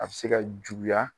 A be se ka juguya.